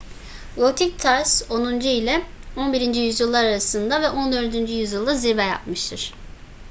gotik tarz 10. ile 11. yüzyıllar arasında ve 14. yüzyılda zirve yapmıştır